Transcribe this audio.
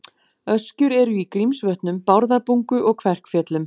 Öskjur eru í Grímsvötnum, Bárðarbungu og Kverkfjöllum.